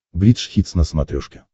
бридж хитс на смотрешке